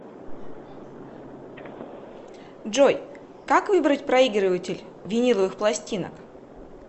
джой как выбрать проигрыватель виниловых пластинок